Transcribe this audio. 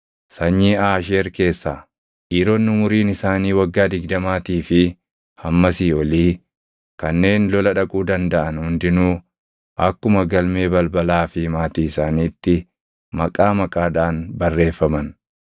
Sanyii Aasheer keessaa: Dhiironni umuriin isaanii waggaa digdamaatii fi hammasii olii kanneen lola dhaquu dandaʼan hundinuu akkuma galmee balbalaa fi maatii isaaniitti maqaa maqaadhaan barreeffaman.